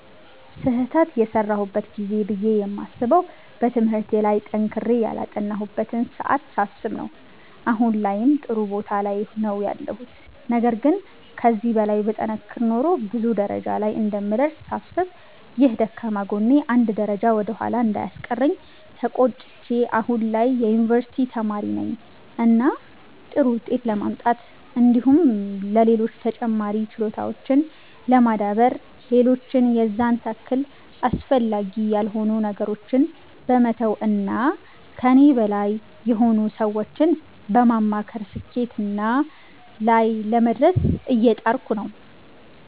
ስህተት የሰራሁበት ጊዜ ብዬ የማስበዉ በትምህርቴ ላይ ጠንክሬ ያላጠናሁበትን ሰዓት ሳስብ ነዉ አሁን ላይም ጥሩ ቦታ ላይ ነዉ ያለሁት ነገር ግን ከዚህ በላይ ብጠነክር ኖሮ ብዙ ደረጃ ላይ እንደምደርስ ሳስብ ይህ ደካማ ጎኔ አንድ ደረጃ ወደ ኋላ እንዳስቀረኝ ተቆጭቼ አሁን ላይ የዩኒቨርሲቲ ተማሪ ነኝ እና ጥሩ ዉጤት ለማምጣት እንዲሁም ሌሎች ተጨማሪ ችሎታዎችን ለማዳበር ሌሎች የዛን ታክል አስፈላጊ ያልሆኑ ነገሮችን በመተዉ እና ከኔ በላይ የሆኑ ሰዎችን በማማከር ስኬትና ላይ ለመድረስ እየጣርኩ ነዉ።